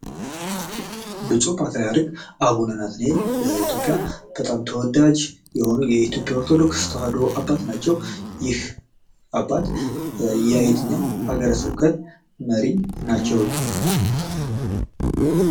ብፁህ ፓትሪያርክ አቡነ ናትናኤል በኢትዮጵያ እጅግ ተወዳጅ የሆኑ የኢትዮጵያ ኦርቶዶክስ ተዋህዶ አባት ናቸው ። ይህ አባት የየትኛው ሀገረ ስብከት መሪ ናቸው ?